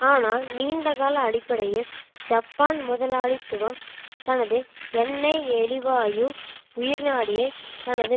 ஆனால் நீண்டகால அடிப்படையில் ஜப்பான் முதலாளித்துவம் தனது எண்ணெய் எரிவாயு உயிர்நாடியைத் தனது